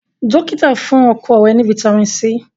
dókítà fún ọrẹ rè ní vitamin c.